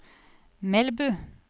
Melbu